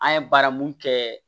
An ye baara mun kɛ